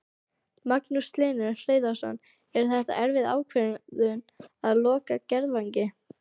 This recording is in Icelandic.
Magnús Hlynur Hreiðarsson: Er þetta erfið ákvörðun að loka Garðvangi?